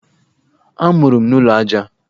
Amụrụ m n'ụlọ aja.